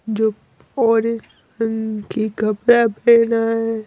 जो और की कपड़ा पहना है।